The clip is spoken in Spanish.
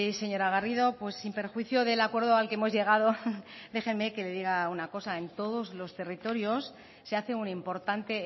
señora garrido sin perjuicio del acuerdo al que hemos llegado déjeme que le diga una cosa en todos los territorios se hace un importante